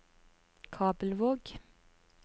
Kabelvåg